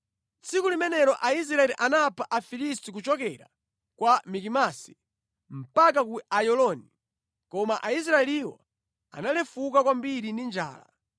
Tsiku limenelo Aisraeli anapha Afilisti kuchokera ku Mikimasi mpaka ku Ayaloni. Koma Aisraeliwo analefuka kwambiri ndi njala.